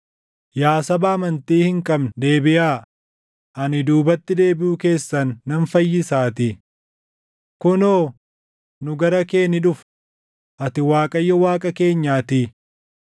“Yaa saba amantii hin qabne deebiʼaa; ani duubatti deebiʼuu keessan nan fayyisaatii.” “Kunoo, nu gara kee ni dhufna; Ati Waaqayyo Waaqa keenyaatii.